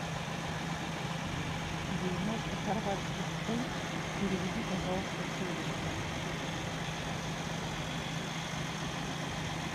девяносто хорватских кун переведи пожалуйста в шиллинги